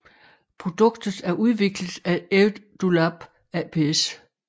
Produktet er udviklet af EduLab aps